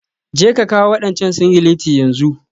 Jeka kawo wadancan singileti yanzu.